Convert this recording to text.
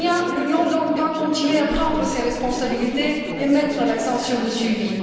L'Union doit donc continuer à prendre ses responsabilités et mettre l'accent sur le suivi.